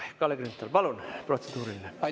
Kalle Grünthal, palun, protseduuriline!